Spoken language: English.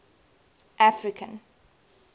african